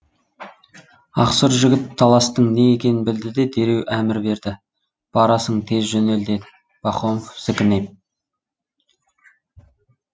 ақсұр жігіт таластың не екенін білді де дереу әмір берді барасың тез жөнел деді похомов зікінеп